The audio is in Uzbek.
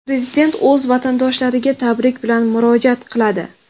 Prezident o‘z vatandoshlariga tabrik bilan murojaat qiladi.